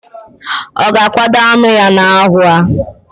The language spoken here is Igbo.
Oga akwado anu ya na ahu a?